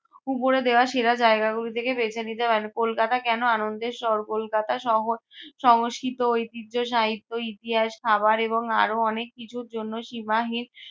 উপরে দেওয়া সেরা জায়গাগুলি থেকে বেছে নিতে পারেন। কলকাতা কেন আনন্দের শহর? কলকাতা শহর সংস্কৃত, ঐতিহ্য, সাহিত্য, ইতিহাস, খাবার এবং আরো অনেক কিছুর জন্য সীমাহীন